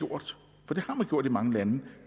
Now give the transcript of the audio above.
har gjort i mange lande